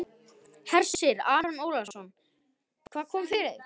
Hersir Aron Ólafsson: Hvað kom fyrir þig?